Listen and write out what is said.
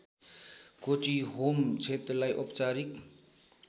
कोटीहोम क्षेत्रलाई औपचारिक